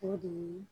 O de ye